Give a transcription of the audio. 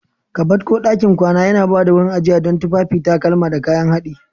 Kabad ko ɗakin kwana yana ba da wurin ajiya don tufafi, takalma, da kayan haɗi.